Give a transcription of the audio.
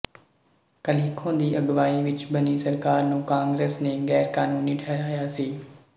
ਕਲਿਖੋ ਦੀ ਅਗਵਾਈ ਵਿੱਚ ਬਣੀ ਸਰਕਾਰ ਨੂੰ ਕਾਂਗਰਸ ਨੇ ਗ਼ੈਰਕਾਨੂੰਨੀ ਠਹਿਰਾਇਆ ਸੀ